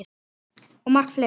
Og margt fleira.